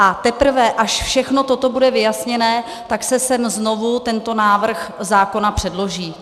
A teprve až všechno toto bude vyjasněné, tak se sem znovu tento návrh zákona předloží.